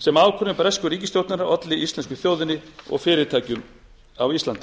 sem ákvörðun bresku ríkisstjórnarinnar olli íslensku þjóðinni og fyrirtækjum á íslandi